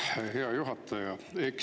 Aitäh, hea juhataja!